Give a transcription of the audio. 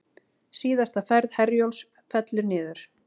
Síðasta ferð Herjólfs fellur niður